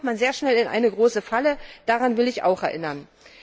Da kommt man sehr schnell in eine große Falle, daran will ich auch erinnern.